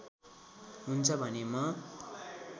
हुन्छ भने म